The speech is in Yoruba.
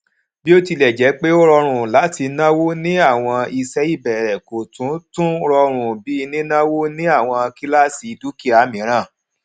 bótilẹjẹpẹ ó rọrùn láti náwó ní àwọn iṣẹ ìbẹrẹ kò tún tún rọrùn bí nínáwó ní àwọn kíláàsì dúkìá mìíràn